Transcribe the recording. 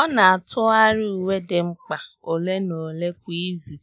Ọ́ nà-átụ́gharị uwe dị mkpa ole na ole kwa ìzù